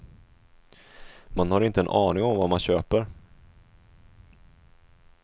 Man har inte en aning om vad man köper.